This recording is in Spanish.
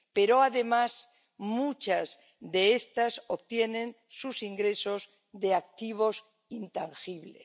Pero, además, muchas de estas obtienen sus ingresos de activos intangibles.